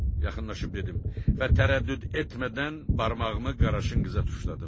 Yaxınlaşıb dedim və tərəddüd etmədən barmağımı Qaraşınqıza tuşladım.